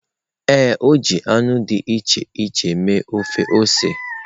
Ee, o ji anụ dị iche iche mee ofe ose.